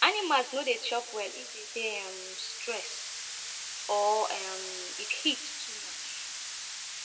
animals no dey chop well if dem dey um stress or um if heat too much